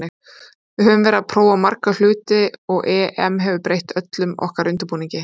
Við höfum verið að prófa marga hluti og EM hefur breytt öllum okkar undirbúningi.